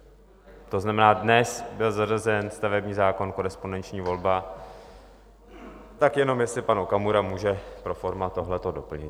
To znamená, dnes byl zařazen stavební zákon, korespondenční volba, tak jenom jestli pan Okamura může pro forma tohleto doplnit.